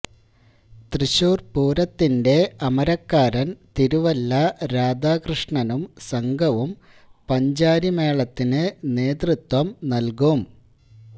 തൃശ്ശൂര് പൂരത്തിന്റെ അമരക്കാരന് തിരുവല്ല രാധാകൃഷ്ണനും സംഘവും പഞ്ചാരിമേളത്തിന് നേതൃത്വം നല്കും